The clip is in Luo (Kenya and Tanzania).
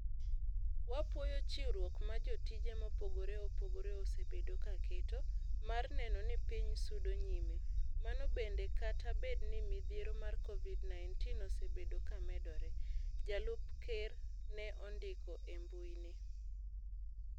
"Wapuoyo chiwruok ma jotije mopogore opogore osebedo kaketo, mar neno ni piny sudo nyime. Mano bende kata bed ni midhiero mar Covid-19 osebedo ka medore." Jalup ker ne ondiko e mbui ne.